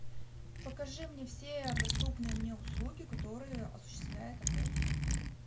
покажи мне все доступные мне услуги которые осуществляет отель